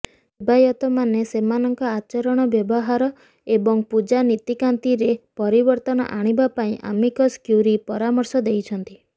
ସେବାୟତମାନେ ସେମାନଙ୍କ ଆଚରଣ ବ୍ୟବହାର ଏବଂ ପୂଜା ନୀତିକାନ୍ତିରେ ପରିବର୍ତ୍ତନ ଆଣିବା ପାଇଁ ଆମିକସ୍ କ୍ୟୁରୀ ପରାମର୍ଶ ଦେଇଛନ୍ତି